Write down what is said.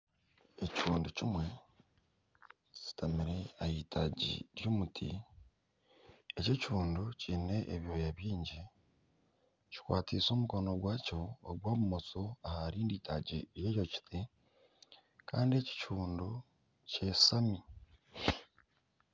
Ekihuundu kimwe kishutamire ah'itagi ry'omuti. Eki ekihuundu kiine ebyooya biingi, kikwatiise omukono gwakyo ogwa bumosho aha rindi itaagi ry'eki kiti kandi eki ekihuundu kyashami.